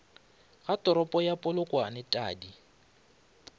ga toropo ya polokwane tadi